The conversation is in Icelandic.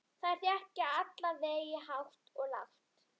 Þær þekja alla veggi hátt og lágt.